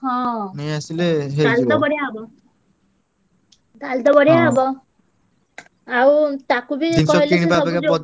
ହଁ ତାହେଲେ ତ ବଢିଆ ହବ। ତାହେଲେତ ବଢିଆ ହବ। ଆଉ ତାକୁ ବି